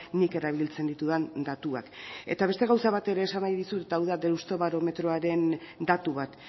nik erabiltzen ditudan datuak eta beste gauza bat ere esan nahi dizut eta hau da deustobarometroaren datu bat